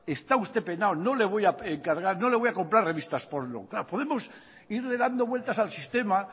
está usted penado no le voy a comprar revistas porno claro podemos irle dando vueltas al sistema